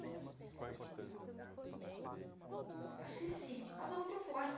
Acho que sim, uma dor muito forte.